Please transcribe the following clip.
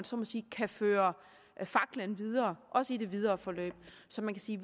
så må sige kan føre faklen videre også i det videre forløb så man kan sige